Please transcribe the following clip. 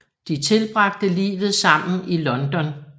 De tilbragte livet sammen i London